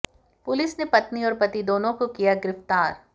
police ने पत्नी और पति दोनों को किया गिरफ्तार